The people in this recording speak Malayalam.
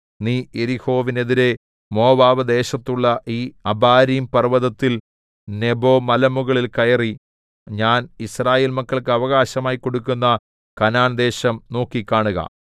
നീ യെരിഹോവിനെതിരെ മോവാബ് ദേശത്തുള്ള ഈ അബാരീംപർവ്വതത്തിൽ നെബോമലമുകളിൽ കയറി ഞാൻ യിസ്രായേൽ മക്കൾക്ക് അവകാശമായി കൊടുക്കുന്ന കനാൻദേശം നോക്കി കാണുക